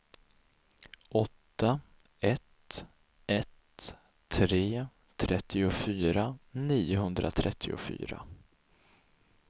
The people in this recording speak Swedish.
åtta ett ett tre trettiofyra niohundratrettiofyra